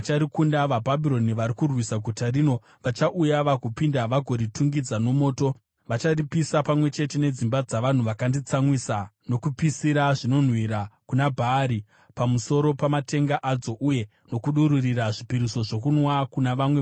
VaBhabhironi vari kurwisa guta rino vachauya vagopinda vagoritungidza nomoto; vacharipisa, pamwe chete nedzimba dzavanhu vakanditsamwisa nokupisira zvinonhuhwira kuna Bhaari pamusoro pamatenga adzo uye nokudururira zvipiriso zvokunwa kuna vamwe vamwari.